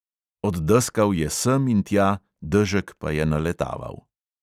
Oddeskal je sem in tja, dežek pa je naletaval.